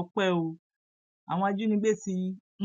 ọpẹ o àwọn ajínigbé ti